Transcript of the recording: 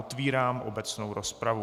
Otevírám obecnou rozpravu.